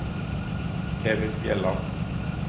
Kevin Bjelland